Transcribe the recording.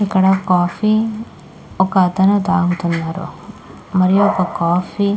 ఇక్కడ కాఫీ ఒక అతను తాగుతున్నాడు మరియు ఒక కాఫీ --